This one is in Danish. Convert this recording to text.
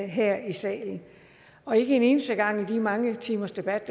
her i salen og ikke en eneste gang under de mange timers debat